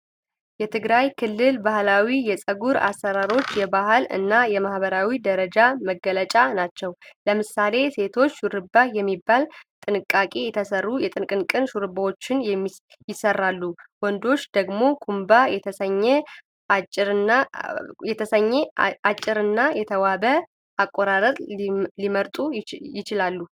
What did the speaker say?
የትግራይ ክልል ባህላዊ የፀጉር አሠራሮች የባህል እና የማህበራዊ ደረጃ መገለጫ ናቸው። ለምሳሌ፣ ሴቶች "ሸሩባ" የሚባሉ በጥንቃቄ የተሰሩ የጥንቅንቅ ሹሩባዎችን ይሠራሉ፣ ወንዶች ደግሞ "ኩምባ" የተሰኘ አጭርና የተዋበ አቆራረጥ ሊመርጡ ይችላሉ።